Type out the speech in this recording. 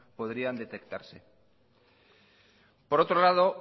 podrían detectarse por otro lado